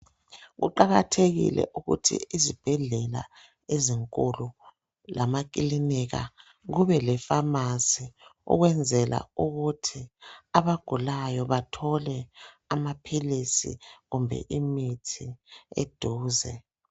Kuqakathekile ukuthi izibhedlela ezinkulu lamakilinika kube le pharmacy ukwenzela ukuthi abagulayo bathole amaphilisi kumbe imithi eduze